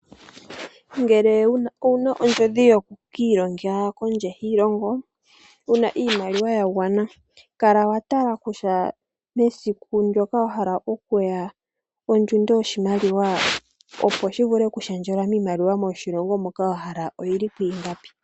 Ngele owuna ondjodhi yokukiilongela kondje yiilongo, wuna iimaliwa yagwana kala watala kutya mesiku ndjoka wahala okuya ondjundo yoshimaliwa opo shi vule okushendjelwe miimaliwa yomoshilongo moka wahala oyili pwiingapi.